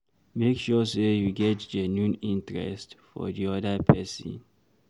Make sure sey you get genuine interest for di oda person